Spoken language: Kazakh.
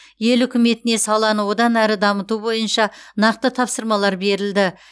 ел үкіметіне саланы одан әрі дамыту бойынша нақты тапсырмалар берілді